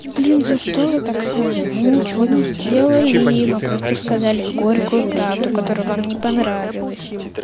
и блин за что вы так с нами мы ничего не сделали мы просто сказали горькую правду которая вам не понравилась